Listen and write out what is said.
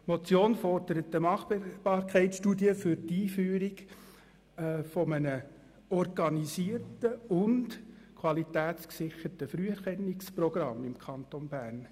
Die Motion fordert eine Machbarkeitsstudie für die Einführung eines organisierten und qualitätsgesicherten Früherkennungsprogramms im Kanton Bern.